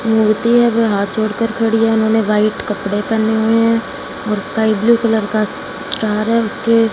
मूर्ति है वह हाथ जोड़कर खड़ी है उन्होंने व्हाइट कपड़े पेहने हुएं हैं और स्काई ब्लू कलर का स्टार है उसके--